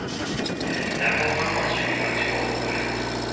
lwa goga mašwi fa thoba